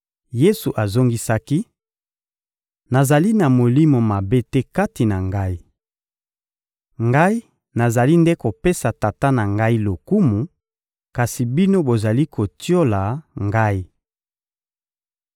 Yesu azongisaki: — Nazali na molimo mabe te kati na Ngai. Ngai nazali nde kopesa Tata na Ngai lokumu, kasi bino bozali kotiola Ngai.